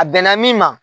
A bɛnna min ma